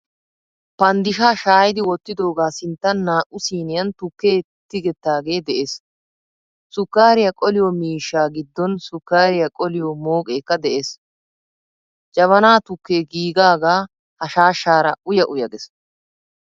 Paanddishaa shayiidi wottidoga sinttan naa'u siiniyan tukke tigettage de'ees. Suukariyaa qoliyo miishshaa giddon sukkariyaa qoliyo mooqekka de'ees. Jabaana tukke giigaga ha shaashaara uya uya gees.